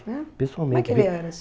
pessoalmente. é, Como é que ele era assim?